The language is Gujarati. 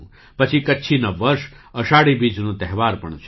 પછી કચ્છી નવ વર્ષ - અષાઢી બીજનો તહેવાર પણ છે